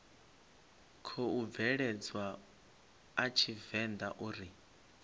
khou bveledzwa a tshivenḓa uri